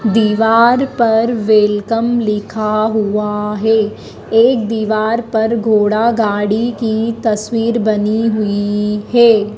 दीवार पर वेलकम लिखा हुआ है एक दीवार पर घोड़ा गाड़ी की तस्वीर बनी हुई है।